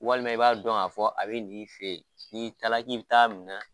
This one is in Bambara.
Walima i b'a dɔn a fɔ a bɛ n'i fɛ yen n'i taara k'i bɛ t'a minɛ